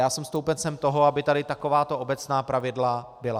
Já jsem stoupencem toho, aby tady takováto obecná pravidla byla.